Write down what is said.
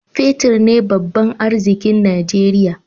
Fetir ne babban arzikin Najeriya.